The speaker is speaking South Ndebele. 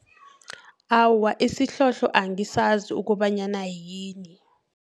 Awa, isihlohlo angisazi ukobanyana yini.